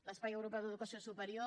l’espai europeu d’educació superior